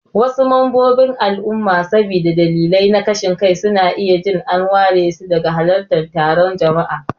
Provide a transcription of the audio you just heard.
Wasu mambobin al'umma saboda dalilai na kashin kai, suna iya jin an waresu daga halartar taron jama'a.